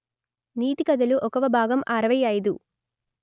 నీతి కథలు ఒకవ భాగం అరవై అయిదు